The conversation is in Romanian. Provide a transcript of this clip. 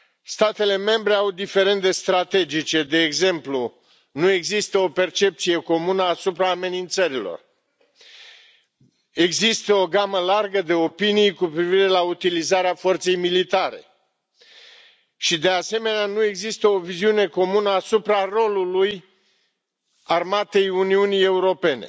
Statele membre au diferende strategice, de exemplu nu există o percepție comună asupra amenințărilor, există o gamă largă de opinii cu privire la utilizarea forței militare și, de asemenea, nu există o viziune comună asupra rolului armatei Uniunii Europene.